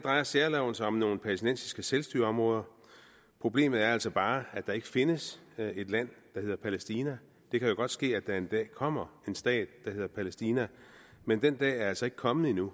drejer særloven sig om nogle palæstinensiske selvstyreområder problemet er altså bare at der ikke findes et land der hedder palæstina det kan jo godt ske at der en dag kommer en stat der hedder palæstina men den dag er altså ikke kommet endnu